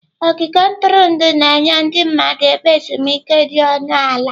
Ogige ntụrụndụ na-enye ndị mmadụ ebe ezumike dị ọnụ ala.